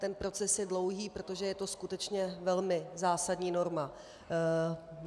Ten proces je dlouhý, protože je to skutečně velmi zásadní norma.